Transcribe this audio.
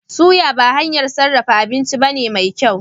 Suya ba hanyar sarrafa abinci bace mai kyau